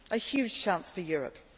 A huge chance for Europe.